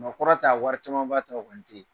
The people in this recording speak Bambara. Nka o kɔrɔ tɛ a wɔri camanba t'aw kan te.